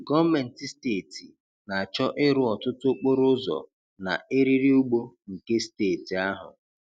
Gọọmenti steeti na-achọ ịrụ ọtụtụ okporo ụzọ na eriri ugbo nke steeti ahụ.